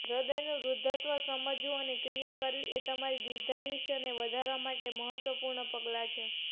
હૃદયનું વૃદ્ધત્વ સમજવું અને ક્રિયા કરવી એ તમારી દીર્ધાયુષ્યને વધારવા માટે મહત્વપૂર્ણ પગલાં છે